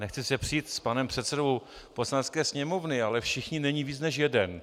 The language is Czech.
Nechci se přít s panem předsedou Poslanecké sněmovny, ale všichni není víc než jeden.